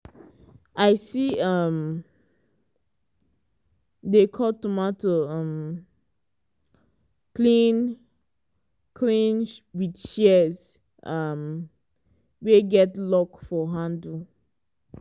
i see am um dey cut tomato um clean clean with shears um wey get lock for handle.